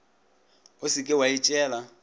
o se ke wa itšeela